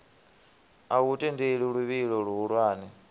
a u tendeli luvhilo luhulwane